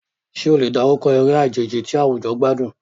Ṣé o lè dárúkọ eré àjèjì tí àwùjọ gbádùn?